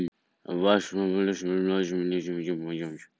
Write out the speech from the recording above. Og ég sæi mig í anda fara að flytja inn til hans eða öfugt.